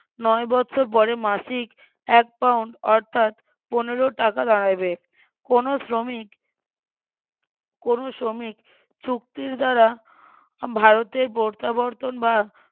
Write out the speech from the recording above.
নয় বৎসর পরে মাসিক এক পাউন্ড অর্থাৎ পনেরো টাকা দাঁড়াইবে কোনো শ্রমিক কোনো শ্রমিক চুক্তির দ্বারা ভারতে প্রত্যাবর্তন বা